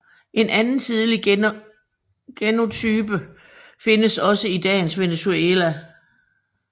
En anden tidlig genotype findes også i dagens Venezuela